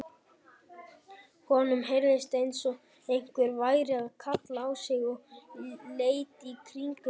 Honum heyrðist eins og einhver væri að kalla á sig og leit í kringum sig.